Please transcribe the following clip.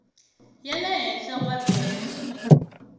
ya le henhla wa bende